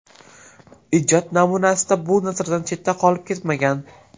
Ijod namunasida bu nazardan chetda qolib ketmagan.